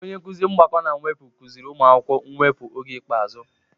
Onye nkuzi mgbakọ na mwepụ kuziri ụmụ akwụkwọ mwepu oge ikpeazụ.